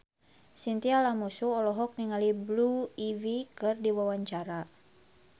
Chintya Lamusu olohok ningali Blue Ivy keur diwawancara